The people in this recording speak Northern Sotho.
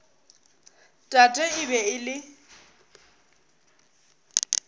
tate e be e le